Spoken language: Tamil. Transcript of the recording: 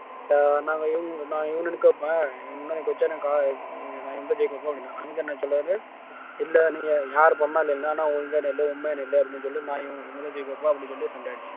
அஹ் சொல்லணும்ன்னா மொத்தத்துல இப்ப நாங்க நான் இவனை நிக்க வைப்பேன் இல்லை நீங்க யாரு பண்ணாலும் என்னன்னா இல்லை உண்மைன்னு நில்லு அப்படின்னு சொல்லி நான் இவங்கதான் ஜெயிக்க வைப்பா அப்படின்னு சண்டை ஆச்சு